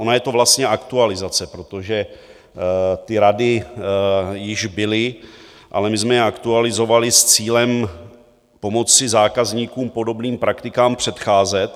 Ona je to vlastně aktualizace, protože ty rady již byly, ale my jsme je aktualizovali s cílem pomoci zákazníkům podobným praktikám předcházet.